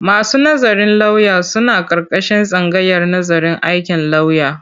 Masu nazarin lauya sun aƙarƙashin tsangayar nazarin aikin lauya.